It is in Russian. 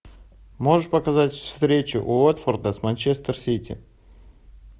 можешь показать встречу уотфорда с манчестер сити